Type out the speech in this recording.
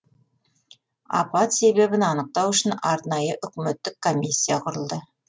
апат себебін анықтау үшін арнайы үкіметтік комиссия құрылды